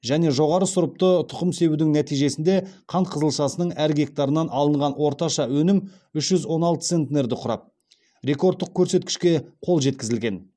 және жоғары сұрыпты тұқым себудің нәтижесінде қант қызылшасының әр гектарынан алынған орташа өнім үш жүз он алты центнерді құрап рекордтық көрсеткішке қол жеткізілген